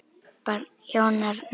Barn: Jón Arnar.